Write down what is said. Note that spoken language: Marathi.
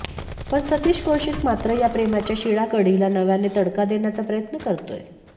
पण सतीश कौशिक मात्र या प्रेमाच्या शिळ्या कढीला नव्याने तडका देण्याचा प्रयत्न करतोय